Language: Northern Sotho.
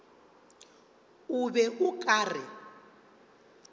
o be o ka re